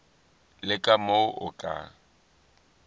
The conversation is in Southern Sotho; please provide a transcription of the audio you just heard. le ka moo o ka